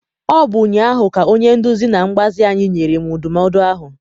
Ọ bụ ụnyaahụ ka onye nduzi na mgbazi anyị nyere m ndụmọdụ ahụ.